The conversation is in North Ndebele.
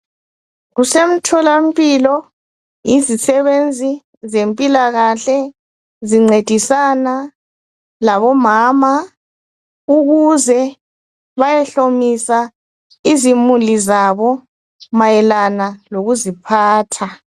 Kusemtholampilo izisebenzi zempilakahle zincedisana labomama ukuze bayehlomisa izimuli zabo mayelana lokuziphatha.